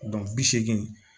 bi seegin